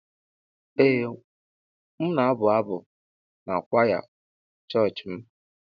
Ee m na-abụ abụ n'kwaya chọọchị m.